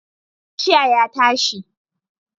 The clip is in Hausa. Kashiya ya tashi